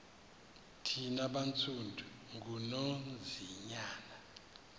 thina bantsundu ngunonzinyana